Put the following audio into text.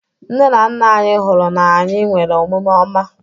Nne na nna anyị hụrụ na anyị nwere omume ọma.